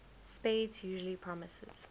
spades usually promises